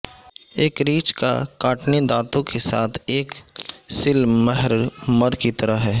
ایک ریچھ کا کاٹنے دانتوں کے ساتھ ایک سلمھرمر کی طرح ہے